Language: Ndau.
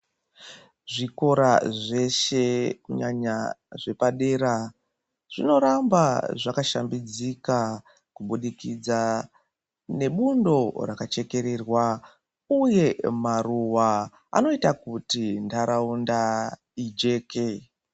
Zvikora zveshe kunyanya zvepadera zvinoramba zvakashambidzika kubudikidza nebundo rakachekererwa, uye maruva anoita kuti ntaraunda ijeke.